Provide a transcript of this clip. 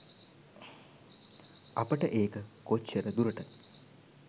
අපට ඒක කොච්චර දුරට